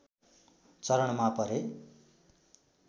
चरणमा परे